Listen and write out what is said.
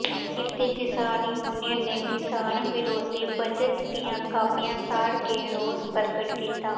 ਕਿਰਤੀ ਕਿਸਾਨ ਯੂਨੀਅਨ ਨੇ ਕਿਸਾਨ ਵਿਰੋਧੀ ਬਜਟ ਦੀਆਂ ਕਾਪੀਆਂ ਸਾੜ ਕੇ ਰੋਸ ਪ੍ਰਗਟ ਕੀਤਾ